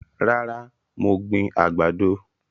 Rárá, mo gbìn àgbàdo